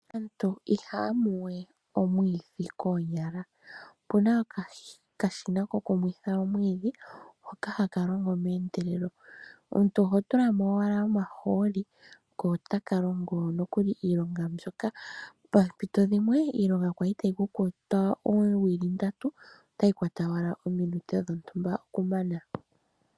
Aantu ihaya limi wee omwidhi koonyala opuna okashina kokumwiitha omwiidhi hoka hakalongo meendelelo omutu oho tula mo owala omahooli ko otaka longo nokuli iilonga mbyoka, pompito dhimwe iilonga yali tayi kukwata oowili ndatu ,otayi kwata wala oominute dhontumba okumana.